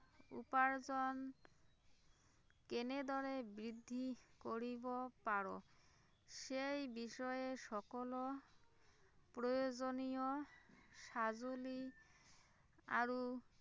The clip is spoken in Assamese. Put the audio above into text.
উপাৰ্জন কেনেদৰে বৃদ্ধি কৰিব পাৰো সেই বিষয়ে সকলো প্ৰয়োজনীয় সঁজুলি আৰু